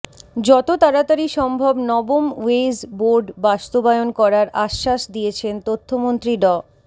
যত তাড়াতাড়ি সম্ভব নবম ওয়েজ বোর্ড বাস্তবায়ন করার আশ্বাস দিয়েছেন তথ্যমন্ত্রী ড